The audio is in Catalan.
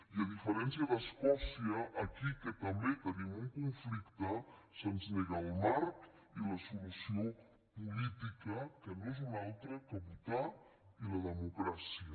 i a diferència d’escòcia aquí que també tenim un conflicte se’ns neguen el marc i la solució política que no és una altra que votar i la democràcia